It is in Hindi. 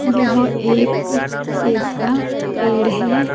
यहाँ एक सेब का पैड है ।